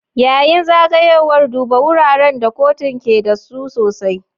Yayin zagayowar, duba wuraren da kotun ke da su sosai.